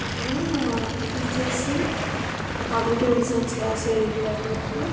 అక్కడ teachers teachers competitive exams రాసె విద్యార్థులకు.